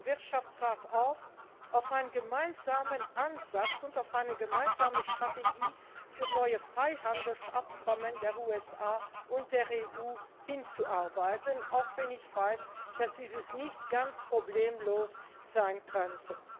Wirtschaftsrat auf, auf einen gemeinsamen Ansatz und auf eine gemeinsame Strategie für neue Freihandelsabkommen der USA und der EU hinzuarbeiten, auch wenn ich weiß, das dies nicht ganz problemlos sein könnte.